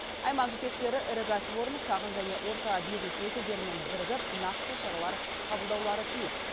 аймақ жетекшілері ірі кәсіпорын шағын және орта бизнес өкілдерімен бірігіп нақты шаралар қабылдаулары тиіс